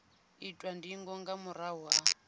itwa ndingo nga murahu ha